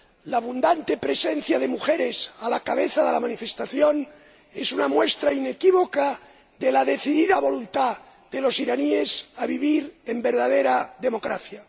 La abundante presencia de mujeres a la cabeza de la manifestación es una muestra inequívoca de la decidida voluntad de los iraníes de vivir en verdadera democracia.